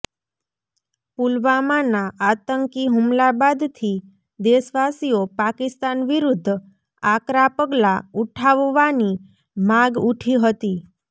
પુલવામાના આતંકી હુમલા બાદથી દેશવાસીઓ પાકિસ્તાન વિરૂદ્ધ આકરા પગલાં ઉઠાવાની માગ ઉઠી હતી